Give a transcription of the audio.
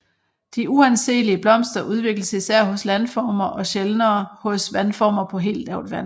De uanseelige blomster udvikles især hos landformer og sjældnere hos vandformer på helt lavt vand